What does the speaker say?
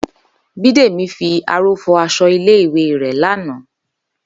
Bídèmí fi aró fọ aṣọ ilé ìwé rẹ̀ lánàá